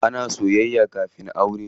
Ana soyayya kafin aure.